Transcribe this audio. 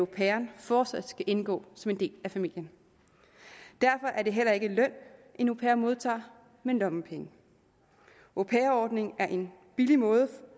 pairen fortsat skal indgå som en del af familien derfor er det heller ikke løn en au pair modtager men lommepenge au pair ordningen er en billig måde